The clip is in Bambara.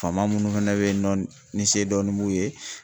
Faama munnu fɛnɛ bɛ yen nɔ ni se dɔnnin b'u ye.